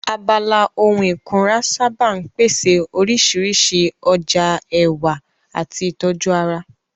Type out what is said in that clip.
Abala ohun ìkunra sáábà ń pèsè oríṣiríṣi ọjà ẹwà àti ìtọ́jú ara